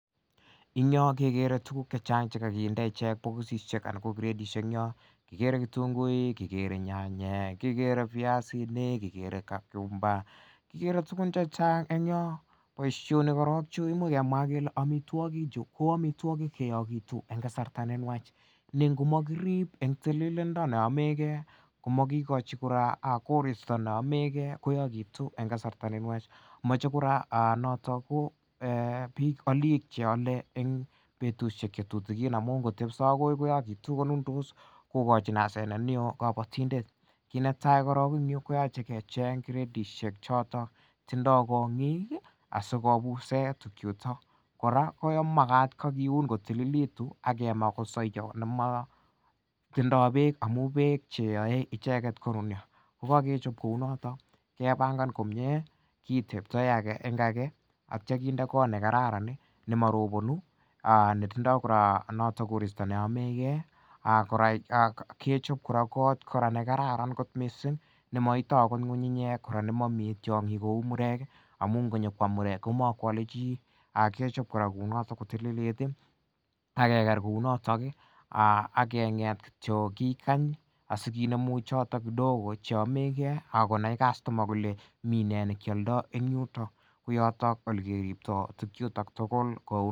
En Yoon kekere tugun chechang chekakinde bokisisiek anan kakinde kiretisiek en Yoon kikere echek ketunguik kikere nyanyek, kikere kikere amituakik chu ko ko amituakik cheyakituen kasarta nenuach, kokirib en tililindo komakichi kora korista neamege koyagitu en kasarta nenuach komache kora bik alik cheale en betusiek amuun kotebsa akoi kokachin asenet neo kabatindet kit netai en you koyache kebchei ak Kong"ik ih asikobuse tukuk chuton, kora komagat kiuun kotililit age ma kosaya nemako tindoo bek amu bek cheyae icheket ko nunio kokagechab kounato kibagebangan komie aitya kinde kot nekararan nemarobanu netindo korista neamegee akgechob kot kora nekararan kot missing nemaityin ng'ung'ungnyek kouu konyokoam muerk akgechob kora kounoton ageger kounoton ih ak akinemu choto kidogo akonai minee nekialda chuton tugul kouu.